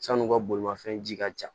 San'u ka bolimafɛn ji ka ca